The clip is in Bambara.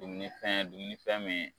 Dumuni fɛn dumuni fɛn min